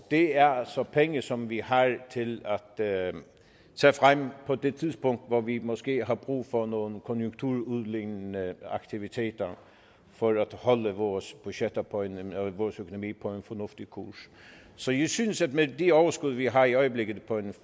det er altså penge som vi har til at tage frem på det tidspunkt hvor vi måske har brug for nogle konjunkturudlignende aktiviteter for at holde vores økonomi på en fornuftig kurs så jeg synes at med det overskud vi har i øjeblikket på en